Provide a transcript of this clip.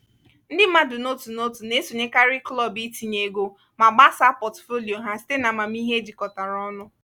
ndị mmadụ n'otu n'otu na-esonyekarị klọb itinye ego ma gbasaa pọtụfoliyo ha site n'amamihe ejikọtara ọnụ.